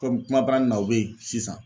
Komi kuma baranin na o beyi sisan.